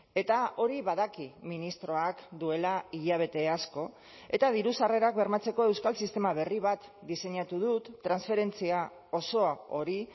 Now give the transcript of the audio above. eta hori badaki ministroak duela hilabete asko eta diru sarrerak bermatzeko euskal sistema berri bat diseinatu dut transferentzia osoa hori